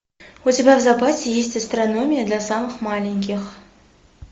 у тебя в запасе есть астрономия для самых маленьких